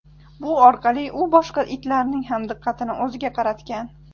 Bu orqali u boshqa itlarning ham diqqatini o‘ziga qaratgan.